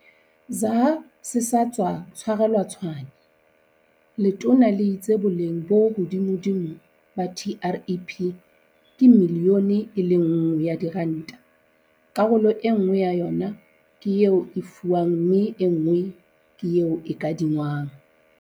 ZA se sa tswa tshwarelwa Tshwane, letona le itse boleng bo hodimodimo ba TREP ke miliyone e le nngwe ya diranta, karolo enngwe ya yona ke eo e fiwang mme enngwe ke eo e kadingwang.